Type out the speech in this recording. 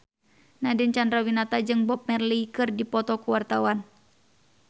Nadine Chandrawinata jeung Bob Marley keur dipoto ku wartawan